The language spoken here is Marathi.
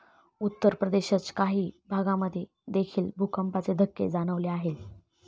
उत्तरप्रदेशच्या काही भागांमध्ये देखील भूकंपाचे धक्के जाणवले आहेत.